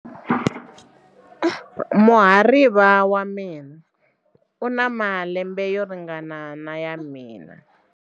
Muhariva wa mina u na malembe yo ringana na ya mina.